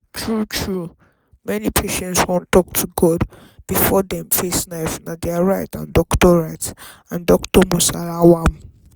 true true many patients wan talk to god before dem face knife na dia right and doctor right and doctor must allow am.